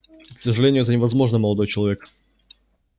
к сожалению это невозможно молодой человек